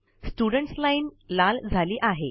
student line लाल झाली आहे